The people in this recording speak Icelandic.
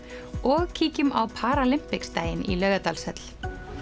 og kíkjum á paralympics daginn í Laugardalshöll